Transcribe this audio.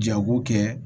Jago kɛ